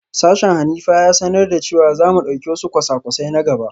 Sashen Hanifa ya sanar da cewa za mu dauki wasu kwasa-kwasai na gaba